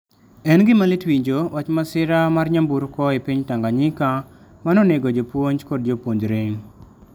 En gima lit winjo wach masira mar nyamburko e piny Tanganyika ma nonego jopuonj kod jopuonjre.